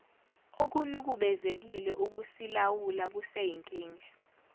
okunukubezekile ukusilawula kuseyinkinga